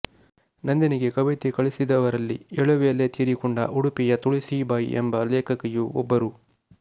ನಂದಿನಿಗೆ ಕವಿತೆ ಕಳಿಸಿದವರಲ್ಲಿ ಎಳವೆಯಲ್ಲೇ ತೀರಿಕೊಂಡ ಉಡುಪಿಯ ತುಳಸೀಬಾಯಿ ಎಂಬ ಲೇಖಕಿಯೂ ಒಬ್ಬರು